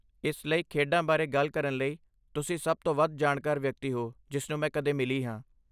ਇਸ ਲਈ, ਖੇਡਾਂ ਬਾਰੇ ਗੱਲ ਕਰਨ ਲਈ, ਤੁਸੀਂ ਸਭ ਤੋਂ ਵੱਧ ਜਾਣਕਾਰ ਵਿਅਕਤੀ ਹੋ ਜਿਸਨੂੰ ਮੈਂ ਕਦੇ ਮਿਲੀ ਹਾਂ।